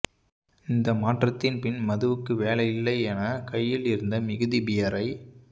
இந்த மாற்றத்தின் பின் மதுவுக்கு வேலையில்லை என கையில் இருந்த மிகுதி பியரை